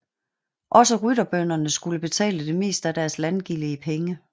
Også rytterbønderne skulle betale det meste af deres landgilde i penge